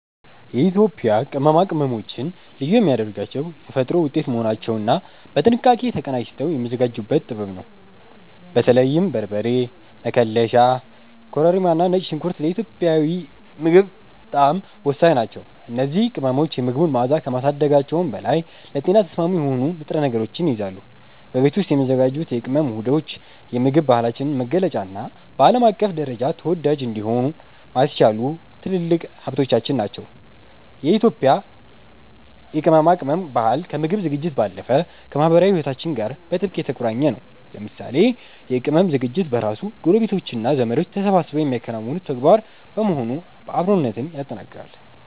የኢትዮጵያ ቅመማ ቅመሞችን ልዩ የሚያደርጋቸው የተፈጥሮ ውጤት መሆናቸውና በጥንቃቄ ተቀናጅተው የሚዘጋጁበት ጥበብ ነው። በተለይም በርበሬ፣ መከለሻ፣ ኮረሪማና ነጭ ሽንኩርት ለኢትዮጵያዊ ምግብ ጣዕም ወሳኝ ናቸው። እነዚህ ቅመሞች የምግቡን መዓዛ ከማሳደጋቸውም በላይ ለጤና ተስማሚ የሆኑ ንጥረ ነገሮችን ይይዛሉ። በቤት ውስጥ የሚዘጋጁት የቅመም ውህዶች የምግብ ባህላችንን መገለጫና በዓለም አቀፍ ደረጃ ተወዳጅ እንዲሆን ያስቻሉ ትልልቅ ሀብቶቻችን ናቸው። የኢትዮጵያ የቅመማ ቅመም ባህል ከምግብ ዝግጅት ባለፈ ከማኅበራዊ ሕይወታችን ጋር በጥብቅ የተቆራኘ ነው። ለምሳሌ የቅመም ዝግጅት በራሱ ጎረቤቶችና ዘመዶች ተሰባስበው የሚያከናውኑት ተግባር በመሆኑ አብሮነትን ያጠናክራል።